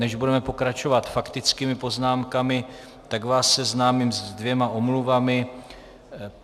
Než budeme pokračovat faktickými poznámkami, tak vás seznámím se dvěma omluvami.